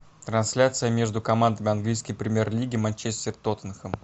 трансляция между командами английской премьер лиги манчестер тоттенхэм